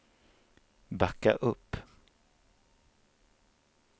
backa upp